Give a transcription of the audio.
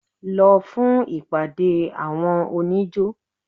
Lọ fún ìpàde àwọn oníjó!